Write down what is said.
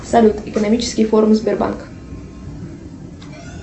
салют экономические формы сбербанка